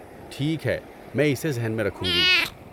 ٹھیک ہے. میں اسے ذہن میں رکھوں گی۔